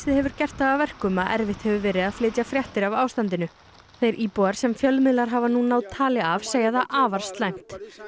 hefur gert það að verkum að erfitt hefur verið að flytja fréttir af ástandinu þeir íbúar sem fjölmiðlar hafa náð tali af segja það afar slæmt